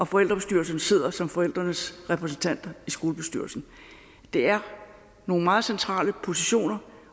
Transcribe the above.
forældrebestyrelserne sidder som forældrenes repræsentanter i skolebestyrelsen det er nogle meget centrale positioner